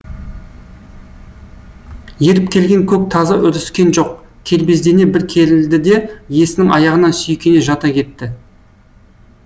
еріп келген көк тазы үріскен жоқ кербездене бір керілді де иесінің аяғына сүйкене жата кетті